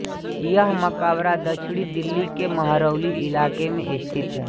यह मकबरा दक्षिणी दिल्ली के महरौली इलाके में स्थित है